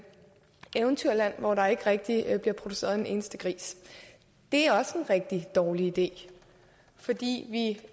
eventyrland hvor der ikke rigtig bliver produceret en eneste gris det er også en rigtig dårlig idé fordi vi